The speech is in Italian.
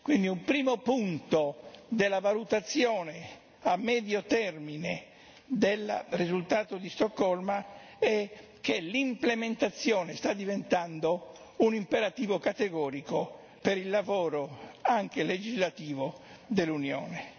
Quindi, un primo punto della valutazione a medio termine del risultato di Stoccolma è che l'implementazione sta diventando un imperativo categorico per il lavoro anche legislativo dell'Unione.